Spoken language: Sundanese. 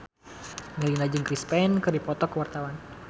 Melinda jeung Chris Pane keur dipoto ku wartawan